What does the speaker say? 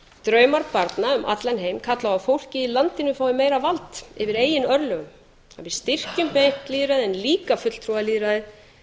draumar barna um allan heim kalla á að fólkið í landinu fái meira vald yfir eigin örlögum að við styrkjum beint lýðræði en líka fulltrúalýðræðið